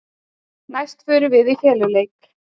Næst förum við í feluleik.